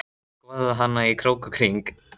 Skoðaði hana í krók og kring.